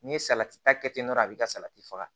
N'i ye salati ta kɛ ten dɔrɔn a bɛ ka salati faga